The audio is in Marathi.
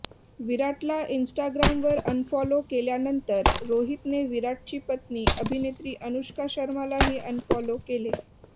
विराटला इन्स्टाग्रामवर अनफॉलो केल्यानंतर रोहितने विराटची पत्नी अभिनेत्री अनुष्का शर्मालाही अनफॉलो केले